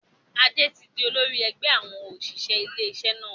Adé tí di olórí ẹgbẹ́ àwọn òṣìṣẹ́ ilé iṣẹ́ náà.